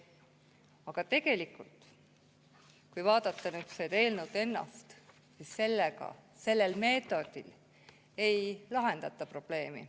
Aga tegelikult, kui vaadata seda eelnõu ennast, siis on näha, et selle meetodiga ei lahendata probleemi.